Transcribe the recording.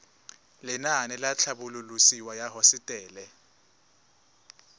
lenaane la tlhabololosewa ya hosetele